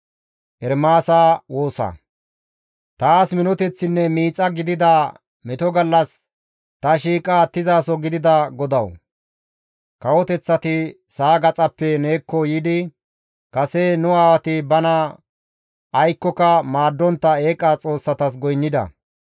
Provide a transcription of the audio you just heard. Taas minoteththinne miixa gidada meto gallas ta shiiqa attizaso gidida GODAWU! Kawoteththati sa7a gaxaappe neekko yiidi, «Kase nu aawati bana aykkoka maaddontta eeqa xoossatas goynnida.